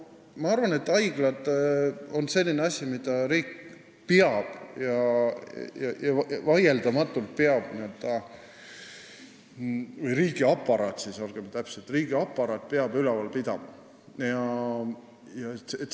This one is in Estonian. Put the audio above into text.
Ma arvan, et haiglad on selline asi, mida riik – riigiaparaat, olgem täpsed – vaieldamatult peab üleval pidama.